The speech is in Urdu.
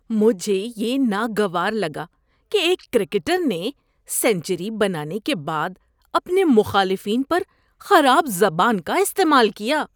مجھے یہ ناگوار لگا کہ ایک کرکٹر نے سنچری بنانے کے بعد اپنے مخالفین پر خراب زبان کا استعمال کیا۔